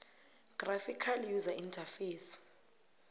graphical user interface